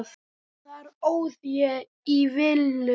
Þar óð ég í villu.